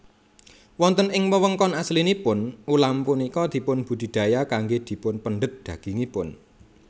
Wonten ing wewengkon aslinipun ulam punika dipun budidaya kanggé dipunpendhet dagingipun